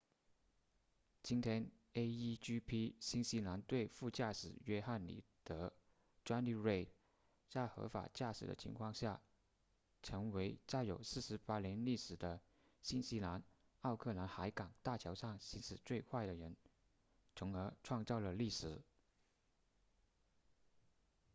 今天 a1gp 新西兰队副驾驶约翰里德 jonny reid 在合法驾驶的情况下成为在有48年历史的新西兰奥克兰海港大桥上行驶最快的人从而创造了历史